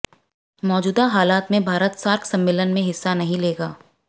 मौजूदा हालात में भारत सार्क सम्मेलन मं हिस्सा नहीं लेगा